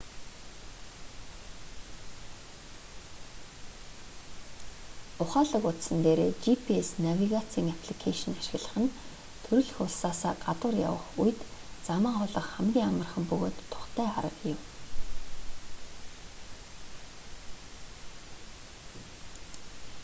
ухаалаг утсан дээрээ gps навигацийн апликэйшн ашиглах нь төрөлх улсаасаа гадуур явах үед замаа олох хамгийн амархан бөгөөд тухтай арга юм